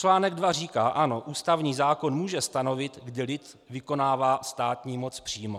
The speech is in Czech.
Článek 2 říká: Ano, ústavní zákon může stanovit, kdy lid vykonává státní moc přímo.